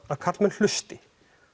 að karlmenn hlusti